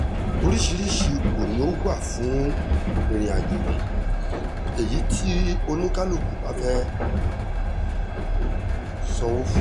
oríṣiríṣi ipò ni ó wà fún ìrìnàjò yìí èyí tí oníkálukú bá fẹ́ẹ́ sanwó fún